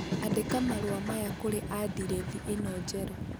andĩka marũa maya kũrĩ andirethi ĩno njerũ